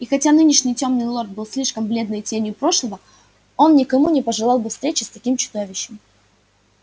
и хотя нынешний тёмный лорд был лишь бледной тенью прошлого он никому не пожелал бы встречи с таким чудовищем